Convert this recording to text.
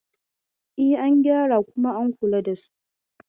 E, an gyara kuma an kula da su.